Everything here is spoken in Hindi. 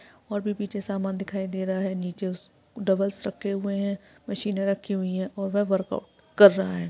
और भी पीछे समान दिखाई दे रहा है। नीचे उस डम्बल्स रखे हुए है। मशीने रखी हुई और वे वर्कआउट कर रहा है।